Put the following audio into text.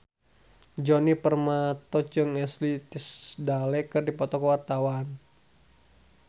Djoni Permato jeung Ashley Tisdale keur dipoto ku wartawan